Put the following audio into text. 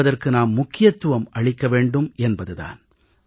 என்பதற்கு நாம் முக்கியத்துவம் அளிக்க வேண்டும் என்பது தான்